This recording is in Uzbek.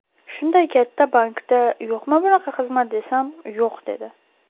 Shunday katta bankda yo‘qmi bunaqa xizmat desam, ‘yo‘q’ dedi.